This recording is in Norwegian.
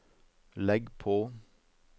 legg på